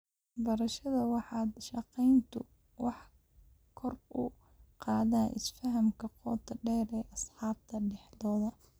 Barashada wada shaqayntu waxay kor u qaadaa isfahamka qoto dheer ee asxaabta dhexdooda.